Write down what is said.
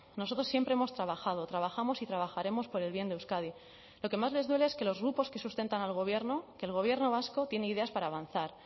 nosotros siempre hemos trabajado trabajamos y trabajaremos por el bien de euskadi lo que más les duele es que los grupos que sustentan al gobierno que el gobierno vasco tiene ideas para avanzar